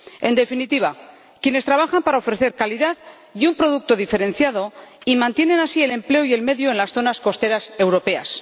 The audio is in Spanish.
en definitiva, quienes trabajan para ofrecer calidad y un producto diferenciado y mantienen así el empleo y el medio en las zonas costeras europeas.